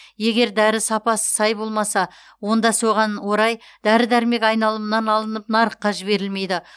егер дәрі сапасы сай болмаса онда соған орай дәрі дәрмек айналымынан алынып нарыққа жіберілмейді